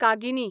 कागिनी